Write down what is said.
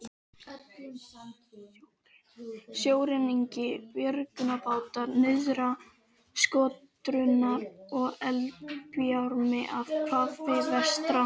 Sjóreknir björgunarbátar nyrðra, skotdrunur og eldbjarmi af hafi vestra.